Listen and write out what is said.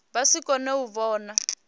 vha si kone u vhona